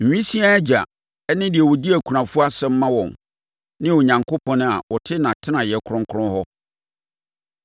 Nwisiaa agya ne deɛ ɔdi akunafoɔ asɛm ma wɔn ne Onyankopɔn a ɔte nʼatenaeɛ kronkron hɔ.